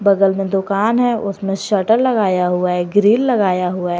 बगल में दुकान है उसमें शटर लगाया हुआ है ग्रील लगाया हुआ है।